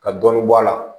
Ka dɔɔnin bɔ a la